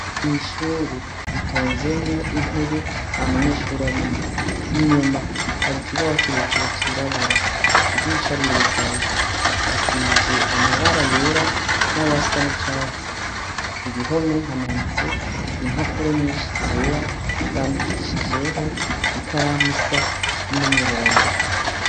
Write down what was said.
Myishure bitonzemwo intebe na munyeshuri arimwo inyuma hari ikibawo kirekere cirabura idisha rirugaye hasize amabara yera n'ayasa ni catsi ku gihome hamanitse impapuro nyinshi zera zandikishijeho ikaramwisa ni umuhondo.